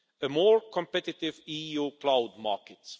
and more competitive EU cloud markets.